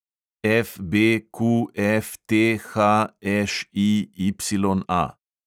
FBQFTHŠIYA